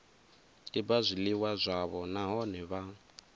tiba zwiliwa zwavho nahone vha